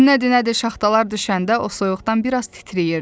Nədi, nədi şaxtalar düşəndə o soyuqdan biraz titriyirdi.